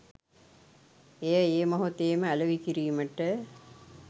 එය ඒ මොහොතේම අලෙවි කිරීමට